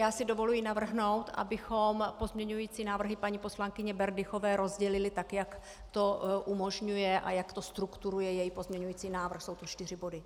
Já si dovoluji navrhnout, abychom pozměňující návrhy paní poslankyně Berdychové rozdělili, tak jak to umožňuje a jak to strukturuje její pozměňující návrh, jsou to čtyři body.